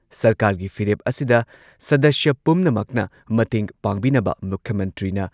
ꯁꯔꯀꯥꯔꯒꯤ ꯐꯤꯔꯦꯞ ꯑꯁꯤꯗ ꯁꯗꯁ꯭ꯌ ꯄꯨꯝꯅꯃꯛꯅ ꯃꯇꯦꯡ ꯄꯥꯡꯕꯤꯅꯕ ꯃꯨꯈ꯭ꯌ ꯃꯟꯇ꯭ꯔꯤꯅ